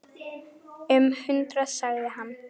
Um hundrað sagði hann.